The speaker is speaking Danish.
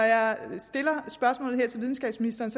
jeg stiller spørgsmålet her til videnskabsministeren